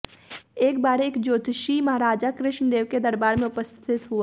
एक बार एक ज्योतिषी महाराजा कृष्ण देव के दरबार में उपस्थित हुआ